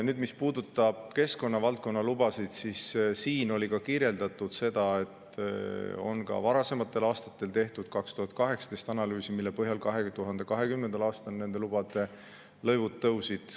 Nüüd, mis puudutab keskkonna valdkonna lubasid, siis siin oli ka kirjeldatud seda, et ka varasematel aastatel, näiteks 2018. aastal on tehtud analüüs, mille põhjal 2020. aastal nende lubade lõivud tõusid.